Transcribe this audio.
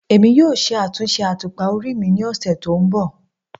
Emi yoo ṣe atunṣe atupa ori mi ni ọsẹ to nbọ